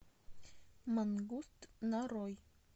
мангуст нарой